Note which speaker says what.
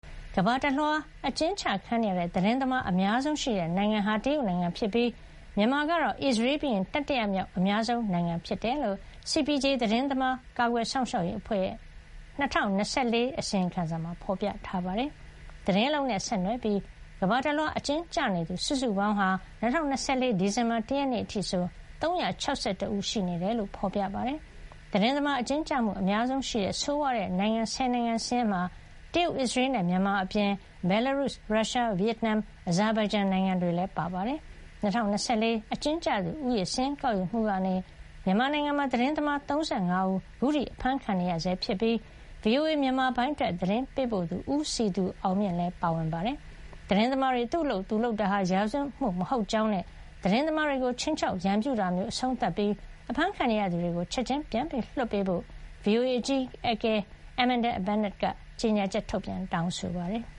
Speaker 1: ကမ္ဘာတလွှား အကျဉ်းချ ခံနေရတဲ့ သတင်းသမား အများဆုံးရှိတဲ့ နိုင်ငံဟာ တရုတ်နိုင်ငံဖြစ်ပြီး မြန်မာကတော့ အစ္စရေးပြီးရင် တတိယမြောက် အများဆုံး နိုင်ငံ ဖြစ်ကြောင်း CPJ သတင်းသမား ကာကွယ်စောင့်ရှောက်ရေး အဖွဲ့ရဲ့ ၂၀၂၄ ခုနှစ် အစီရင်ခံစာမှာ ဖေါ်ပြထားပါတယ်။ သတင်းအလုပ်နဲ့ ဆက်နွယ်ပြီး ကမ္ဘာတလွှား အကျဉ်းကျနေသူ စုစုပေါင်းဟာ ၂၀၂၄ ဒီဇင်ဘာ ၁ ရက်နေ့ အထိဆို ၃၆၁ ဦး ရှိနေတယ်လို့ ဖေါ်ပြပါတယ်။ သတင်းသမား အကျဉ်းကျမှု အများဆုံးရှိတဲ့ ဆိုးဝါးတဲ့ နိုင်ငံ ၁၀ နိုင်ငံ စာရင်းထဲမှာ တရုတ်၊ အစ္စရေးနဲ့ မြန်မာ အပြင် ဘယ်လာရုစ်၊ ရုရှား၊ ဗီယက်နမ်၊ အဇာဘိုင်ဂျန်နိုင်ငံ တွေလည်း ပါဝင်ပါတယ်။ ၂၀၂၄ အကျဉ်းကျသူ ဦးရေ စာရင်းကောက်ယူမှုကနေ မြန်မာနိုင်ငံမှာ သတင်းသမား ၃၅ ဦး အခုထိ အဖမ်းဆီးခံနေရဆဲ ဖြစ်ပြီး VOA မြန်မာပိုင်း အတွက် သတင်းပေးပို့သူ ဦးစည်သူအောင်မြင့် လည်း ပါဝင်နေတာပါ။ သတင်းသမားတွေ သူ့အလုပ်သူလုပ်တာဟာ ရာဇဝတ်မှု မဟုတ်ကြောင်းနဲ့ သတင်းသမားတွေကို ခြိမ်းခြောက် ရန်ပြုတာမျိုး အဆုံးသတ် ပြီး အဖမ်းခံနေရသူတွေကို ချက်ချင်း လွှတ်ပေးဖို့ VOA အကြီးအကဲ Amanda Bennett က ကြေညာချက် ထုတ်ပြန်တောင်းဆိုပ
Speaker 2: ါတယ်။